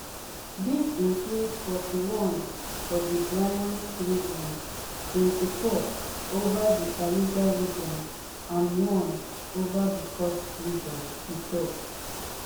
dis include forty-one for di bryansk region twenty-four over di kaluga region and one over di kursk region e tok